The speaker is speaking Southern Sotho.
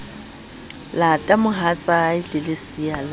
lata mohatsae le lesea la